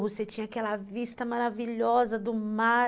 Você tinha aquela vista maravilhosa do mar.